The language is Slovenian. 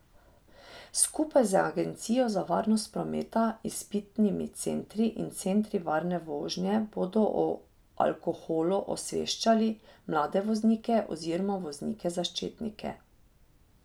Skupaj z agencijo za varnost prometa, izpitnimi centri in centri varne vožnje bodo o alkoholu osveščali mlade voznike oziroma voznike začetnike.